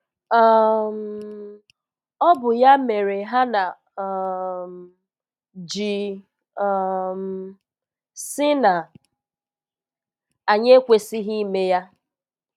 um Ọ bụ ya mere Hana um ji um sị na anyị ekwesịghị ime ya.